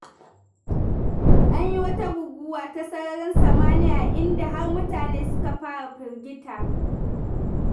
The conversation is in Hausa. An yi wata guguwa ta sararin samaniya, inda har mutane suka fara firgita.